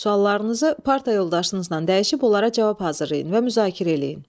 Sualarınızı parta yoldaşınızla dəyişib onlara cavab hazırlayın və müzakirə eləyin.